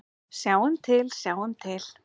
Sjáum til, sjáum til.